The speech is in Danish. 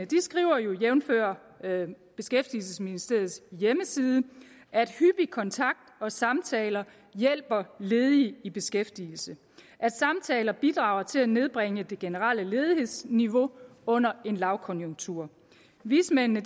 skriver jo jævnfør beskæftigelsesministeriets hjemmeside at hyppig kontakt og samtaler hjælper ledige i beskæftigelse at samtaler bidrager til at nedbringe det generelle ledighedsniveau under en lavkonjunktur vismændene